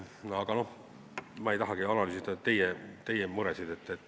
Aga ma ei tahagi analüüsida teie muresid.